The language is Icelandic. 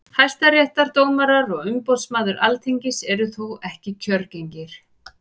hæstaréttardómarar og umboðsmaður alþingis eru þó ekki kjörgengir